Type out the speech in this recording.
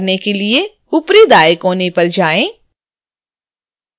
ऐसा करने के लिए ऊपरी दाएँ कोने पर जाएँ